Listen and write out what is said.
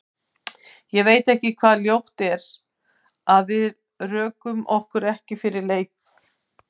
Ég veit ekki hvað ljótt er, að við rökum okkur ekki fyrir leik?